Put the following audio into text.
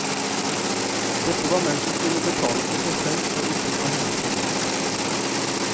Dette var menn som kun betalte for seg selv og ikke for henne i tillegg.